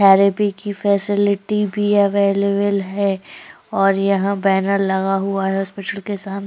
therapy की भी facility भी अवेलेबल है और यहाँ बैनर लगा हुआ है हॉस्पिटल के साम --